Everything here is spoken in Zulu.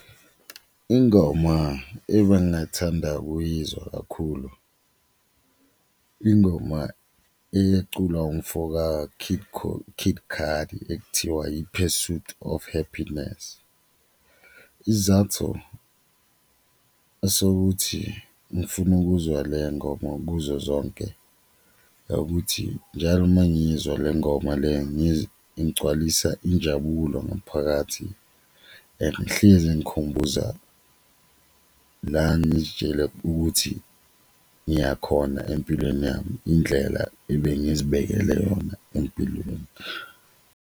Ingoma ebengathanda ukuyizwa kakhulu ingoma eyeculwa umfoka Kid Cudi ekuthiwa i-Pursuit of Happiness isizathu sokuthi ngifune ukuzwa le ngoma kuzo zonke akuthi njalo mangiyizwa le ngoma le ingigcwalisa injabulo ngaphakathi and ngihlezi ingikhumbuza la ngizitshele ukuthi ngiyakhona empilweni yami, indlela ebengizibekele yona empilweni.